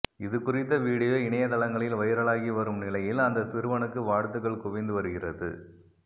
இதுகுறித்த வீடியோ இணையதளங்களில் வைரலாகி வரும் நிலையில் அந்த சிறுவனுக்கு வாழ்த்துக்கள் குவிந்து வருகிறது